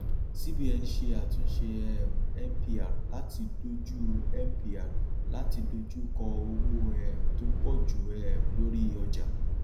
cs] cbn ṣe àtúnṣe um mpr láti dojú mpr láti dojú kọ owó um tó pọ ju um lórí ọjà